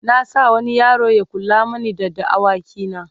na sa wani yaro Ya kula mani da da awaki na